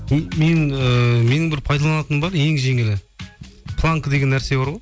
мен ііі менің бір пайдаланатыным бар ең жеңілі планка деген нәрсе бар ғой